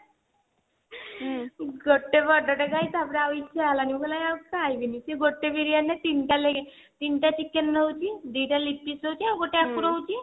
ଗୋଟେ ବଡ ଟା ଖାଇ ତାପରେ ଆଉ ଇଚ୍ଛା ହେଲାନି ମୁଁ କହିଲି ଆଉ ଖାଇବିନି ସେ ଗୋଟେ ବିରିୟାନୀ ରେ ତିନିଟା ତିନିଟା chicken ରହୁଛି ଦିଟା leg pieces ଆଉ ଗୋଟେ ଆକୁ ରହୁଛି